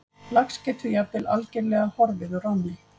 Lax getur jafnvel algerlega horfið úr ánni.